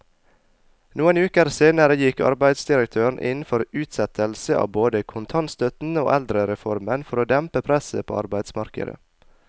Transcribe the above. Noen uker senere gikk arbeidsdirektøren inn for utsettelse av både kontantstøtten og eldrereformen for å dempe presset på arbeidsmarkedet.